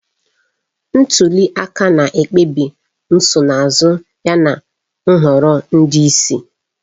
Ntuli aka na-ekpebi nsonaazụ yana nhọrọ ndị isi.